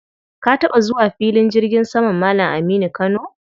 Ka taɓa zuwa filin jirgin saman Malam Aminu Kano?